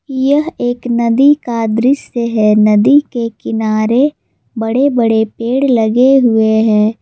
यह एक नदी का दृश्य है नदी के किनारे बड़े बड़े पेड़ लगे हुए हैं।